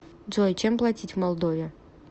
джой чем платить в молдове